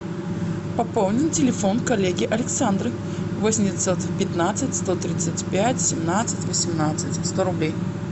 пополнить телефон коллеги александры восемь девятьсот пятнадцать сто тридцать пять семнадцать восемнадцать сто рублей